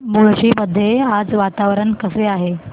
मुळशी मध्ये आज वातावरण कसे आहे